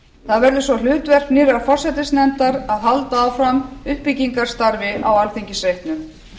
verk það verður svo hlutverk nýrrar forsætisnefndar að halda áfram uppbyggingarstarfi á alþingisreitnum